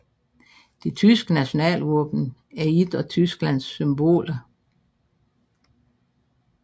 Det tyske nationalvåben er et af Tysklands symboler